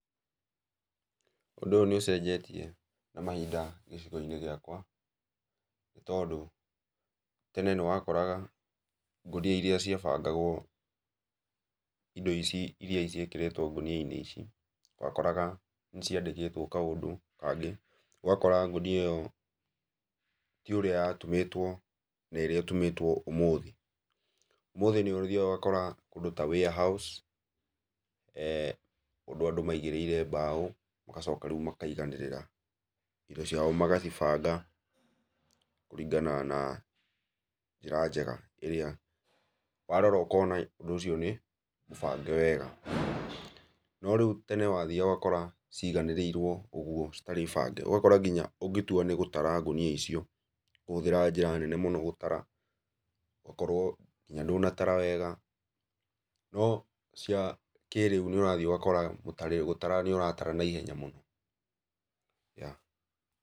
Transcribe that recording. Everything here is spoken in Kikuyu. Ũndũ ũyũ nĩ ũcenjetie mahinda gĩcigo-inĩ gĩakwa, tondũ tene nĩ wakoraga ngũnia irĩa ciabangagwo indo ici irio iria ciĩkĩrĩtwo ngũni-inĩ ici wakoraga ciandĩkĩtwo kaũndũ kangĩ, ũgakora ngũnia ĩyo ti ũrĩa ya yatumĩtwo na ĩrĩa ĩtumĩtwo ũmũthĩ. Ũmũthĩ nĩ ũthiaga ũgakora kũndũ ta warehouse, kũndũ andũ maigĩrĩire mbaũ magacoka rĩu makaiganĩrĩra indo ciao magacibanga kũringana na njĩra njega ĩrĩa, warora ũkona ũndũ ũcio nĩ mũbange wega, no rĩu tene wathiaga ũgakoraga ciganĩrĩirwo ũguo citarĩbangĩ ũgatua angĩkorwo nĩ gũtara ngũnia ũkũhũthĩra njĩra nene mũno gũtara, ũgakorwo nginya ndũnatara wega no cia kĩrĩu nĩ ũrathiĩ ũgakora gũtara nĩ ũratara na ihenya mũno yeah.